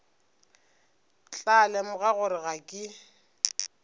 tla lemoga gore ga ke